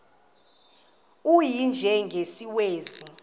u y njengesiwezi